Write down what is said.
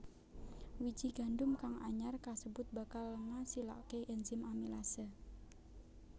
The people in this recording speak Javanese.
Wiji gandum kang anyar kasebut bakal ngasilaké enzim amilase